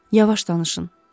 Yavaş danışın.